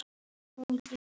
Kunnum ekki annað.